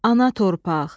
Ana torpaq!